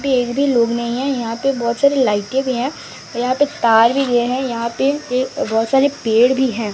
पे एक भी लोग नहीं है यहां पे बहुत सारी लाइटें भी हैं और यहां पे तार भी दिए हैं यहां पे ये बहुत सारे पेड़ भी हैं।